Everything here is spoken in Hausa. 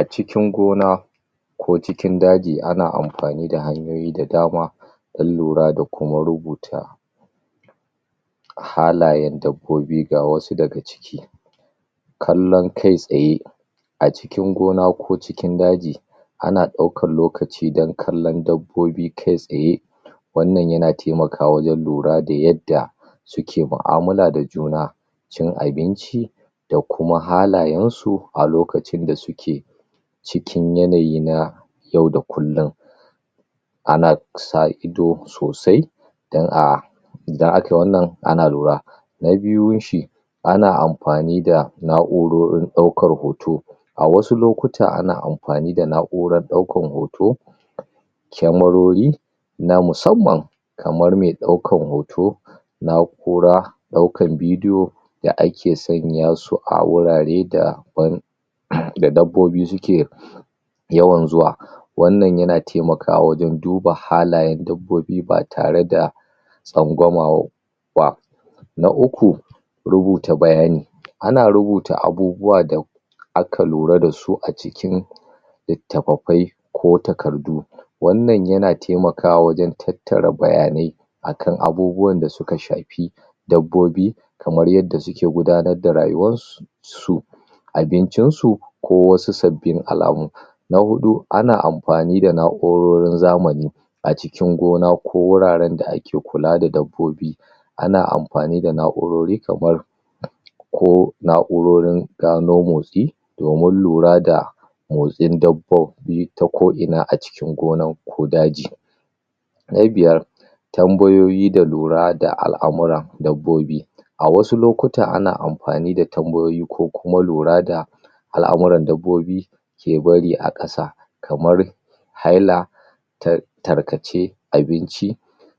A cikin gona ko cikin daji, ana amfani da hanyoyi da dama dan lura da kuma rubuta halayen dabobi, ga wasu da ga ciki kallan kai tsaye a cikin gona ko cikin daji ana daukan lokaci dan kallan dabobi kai tsaye wannan ya na taimaka wajen lura da yadda su ke ma'amala da juna cin abinci da kuma halayen su a lokacin da su ke cikin yanayi na yau da kullum ana sa ido sosai dan a idan a kai wannan, ana lura na biyun shi ana amfani da na'urorin daukar hoto a wasu lokuta, ana amfani da na'uran daukan hoto camerori na masamman kamar mai daukan hoto na 'ura daukan video da ake sanya su a wurare daban da dabobi su ke yawan zuwa wannan ya na taimaka wajen duba halayen dabobi ba tare da tsangwama ba na uku rubuta bayani ana rubuta abubuwa da aka lura da su a cikin litafafai ko takardu wannan ya na taimaka wajen tattara bayanai akan abubuwan da su ka shafi dabobi kamar yadda su ke gudanar da rayuwar su abincin su ko wasu sabin alamu na hudu, ana amfani da na'urorin zamani a cikin gona ko wuraren da ake kula da dabobi ana amfani da na'urori kamar ko na'urorin gano motsi domin lura da motsin dabobi ta ko ina, a cikin gona ko daji na biyar tambayoyi da lura da al'amuran dabobi a wasu lokuta, ana amfani da tambayoyi ko kuma lura da al'amuran dabobi ke bari a kasa kamar haila ta tarkace abinci